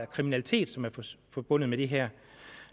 kriminalitet som er forbundet med det her